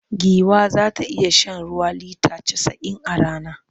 Giwa za ta iya shan ruwa lita casa'in a rana.